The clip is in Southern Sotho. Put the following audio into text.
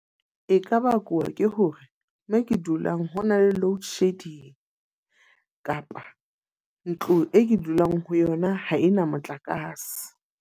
E ka bakuwa ke hore mo ke dulang ho na le load shedding. Kapa ntlo e ke dulang ho yona ha e na motlakase.